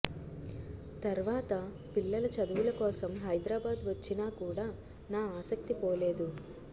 తర్వాత పిల్లల చదువుల కోసం హైదరాబాద్ వచ్చినా కూడా నా ఆసక్తి పోలేదు